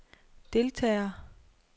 deltager